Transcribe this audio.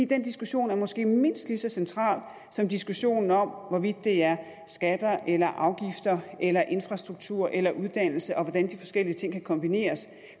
den diskussion er måske mindst lige så central som diskussionen om hvorvidt det er skatter eller afgifter eller infrastruktur eller uddannelse og hvordan de forskellige ting kan kombineres